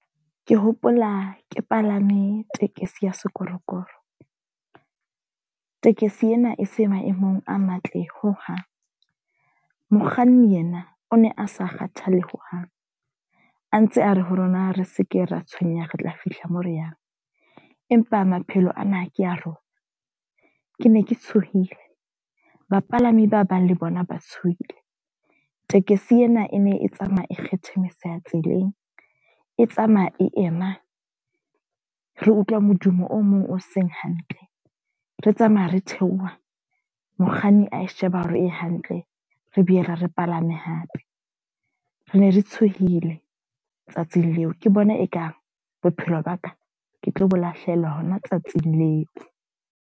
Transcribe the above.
Ke hopola ke palame tekesi ya sekorokoro. Tekesi ena e se maemong a matle ho hang. Mokganni yena o ne a sa kgathalle hohang, a ntse a re ha rona re seke ra tshwenya re tla fihla moo re yang. Empa maphelo ana ke a rona. Ke ne ke tshohile, bapalami ba bang le bona ba tshohile. Tekesi ena e ne e tsamaya e kgethemeseha tseleng, e tsamaya e ema, re utlwa modumo o mong o seng hantle. Re tsamaya re theoha, mokganni a e sheba hore e hantle, re bue re palame hape. Re ne re tshohile tsatsing leo, ke bona e kang bophelo ba ka ke tlo bo lahlehelwa hona tsatsing leo.